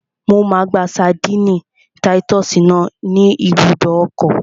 Mo máa gba ṣadínnì táyítọ́sì náà ní ibùdó ọkọ̀